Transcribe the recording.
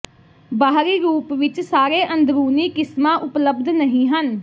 ਬਾਹਰੀ ਰੂਪ ਵਿਚ ਸਾਰੇ ਅੰਦਰੂਨੀ ਕਿਸਮਾਂ ਉਪਲਬਧ ਨਹੀਂ ਹਨ